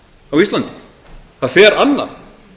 á íslandi það fer annað